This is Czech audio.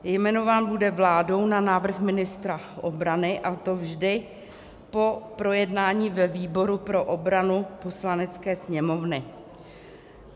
Jmenován bude vládou na návrh ministra obrany, a to vždy po projednání ve výboru pro obranu Poslanecké sněmovny.